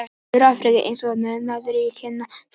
Suður-Afríka er, eins og nafnið gefur til kynna, syðst í Afríku.